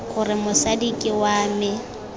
gore mosadi ke wa me